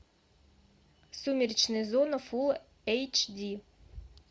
сумеречная зона фул эйч ди